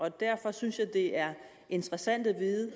og derfor synes jeg det er interessant at vide